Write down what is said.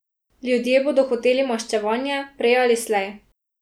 Ljudje bodo hoteli maščevanje, prej ali slej.